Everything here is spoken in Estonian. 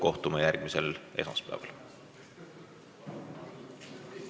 Kohtume järgmisel esmaspäeval!